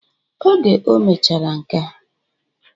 Oge o mechara nkea